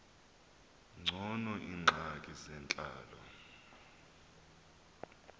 ngcono iingxaki zentlalo